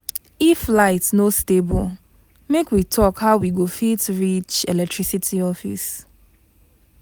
If light no stable, make we talk how we go fit reach electricity office.